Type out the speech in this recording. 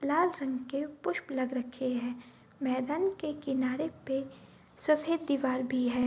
लाल रंग के पुष्प लग रखे हैं मैदान के किनारे पे सफ़ेद दीवार भी है।